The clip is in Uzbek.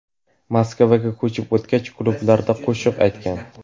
Moskvaga ko‘chib o‘tgach, klublarda qo‘shiq aytgan.